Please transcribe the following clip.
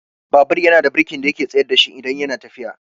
Babur yana da birki da yake tsayar dashi idan yana tafiya.